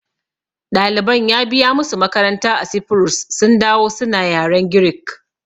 Ɗaliban ya biya musu makaranta a Sifurus sun dawo suna yaren Greek